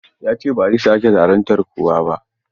Ya ce ba zai sake zaluntar kowa ba.